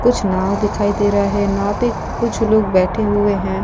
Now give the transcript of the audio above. कुछ नाव दिखाई दे रहा है। नाव पे कुछ लोग बैठे हुए हैं। --